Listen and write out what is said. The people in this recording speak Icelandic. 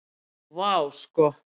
Vá, sko.